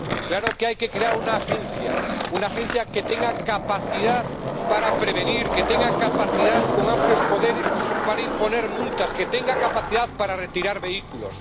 Claro que hay que crear una agencia, una agencia que tenga capacidad para prevenir, que tenga capacidad con amplios poderes para imponer multas, que tenga capacidad para retirar vehículos.